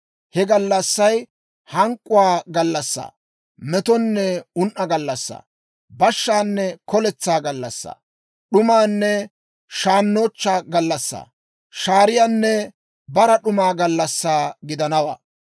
He gallassay hank'k'uwaa gallassaa, metonne un"o gallassaa, bashshaanne koletsaa gallassaa, d'umanne shaannochchaa gallassanne shaariyaanne bara d'uma gallassaa gidanawaa.